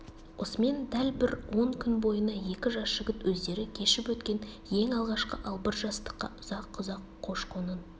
осымен дәл бір он күн бойына екі жас жігіт өздері кешіп өткен ең алғашқы албырт жастыққа ұзақ-ұзақ қош-қошын